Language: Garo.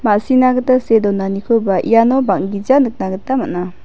ma·sina gita see donanikoba iano bang·gija nikna gita man·a.